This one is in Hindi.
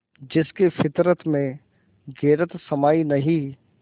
जिसकी फितरत में गैरत समाई नहीं